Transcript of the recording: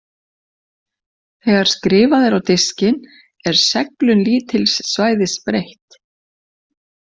Þegar skrifað er á diskinn er seglun lítils svæðis breytt.